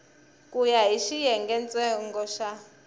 ku ya hi xiyengentsongo xa